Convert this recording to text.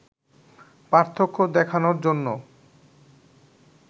পার্থক্য দেখানোর জন্য